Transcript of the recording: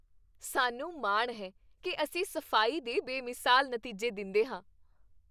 ਸਾਨੂੰ ਮਾਣ ਹੈ ਕੀ ਅਸੀਂ ਸਫ਼ਾਈ ਦੇ ਬੇਮਿਸਾਲ ਨਤੀਜੇ ਦਿੰਦੇਹਾਂ।